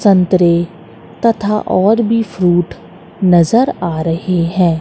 संतरे तथा और भी फ्रूट नजर आ रहे हैं।